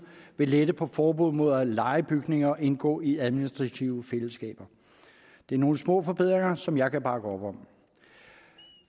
ved letter på forbuddet mod at leje bygninger og indgå i administrative fællesskaber det er nogle små forbedringer som jeg kan bakke op om